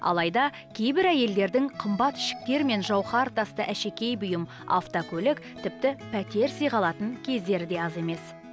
алайда кейбір әйелдердің қымбат ішіктер мен жауһар тасты әшекей бұйым автокөлік тіпті пәтер сыйға алатын кездері де аз емес